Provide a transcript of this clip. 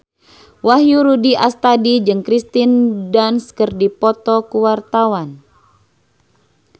Wahyu Rudi Astadi jeung Kirsten Dunst keur dipoto ku wartawan